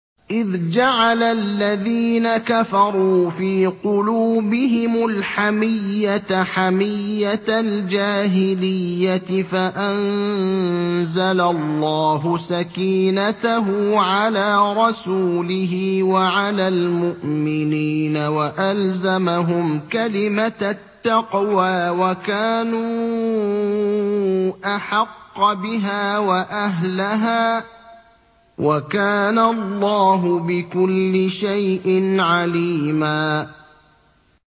إِذْ جَعَلَ الَّذِينَ كَفَرُوا فِي قُلُوبِهِمُ الْحَمِيَّةَ حَمِيَّةَ الْجَاهِلِيَّةِ فَأَنزَلَ اللَّهُ سَكِينَتَهُ عَلَىٰ رَسُولِهِ وَعَلَى الْمُؤْمِنِينَ وَأَلْزَمَهُمْ كَلِمَةَ التَّقْوَىٰ وَكَانُوا أَحَقَّ بِهَا وَأَهْلَهَا ۚ وَكَانَ اللَّهُ بِكُلِّ شَيْءٍ عَلِيمًا